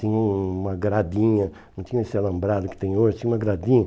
Tinha uma gradinha, não tinha esse alambrado que tem hoje, tinha uma gradinha.